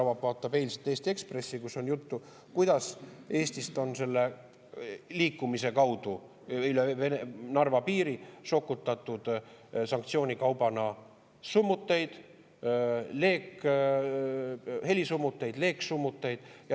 Kui proua Joller vaatab eilset Eesti Ekspressi, kus on juttu, kuidas Eestist on selle liikumise kaudu üle Narva piiri sokutatud sanktsioonikaupu: summuteid, helisummuteid, leegisummuteid.